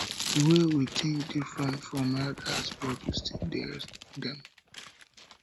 the way we think dey different from elders but we still dey respect dem